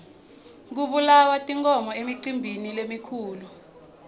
kubulawa tinkhomo emicimbini lemikhulu